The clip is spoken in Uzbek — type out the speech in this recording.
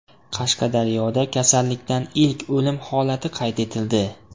Qashqadaryoda kasallikdan ilk o‘lim holati qayd etildi.